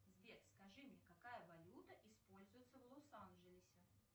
сбер скажи мне какая валюта используется в лос анджелесе